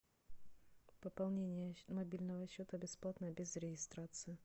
пополнение мобильного счета бесплатно без регистрации